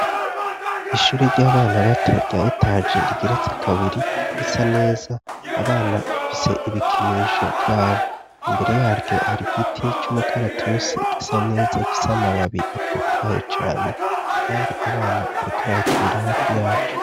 Ishure ry'abana bato rya etaje rigeretse kabiri risa neza, abana bafise ibikinisho vyabo. Imbere yaryo hari giti c'umukaratusi gisa neza gifise amababi atotaye cane kandi abana bariko barakinira hafi yaco.